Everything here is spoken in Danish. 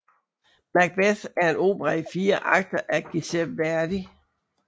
Macbeth er en opera i fire akter af Giuseppe Verdi